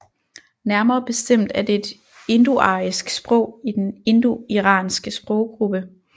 Nærmere bestemt er det et indoarisk sprog i den indoiranske sproggruppe